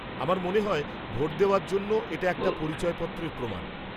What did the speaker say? আমার মনে হয় ভোট দেওয়ার জন্য এটা একটা পরিচয়পত্রের প্রমাণ।